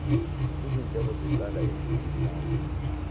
izindleko zecala eziwumthamo